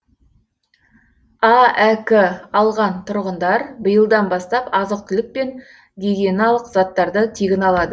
аәк алған тұрғындар биылдан бастап азық түлік пен гигиеналық заттарды тегін алады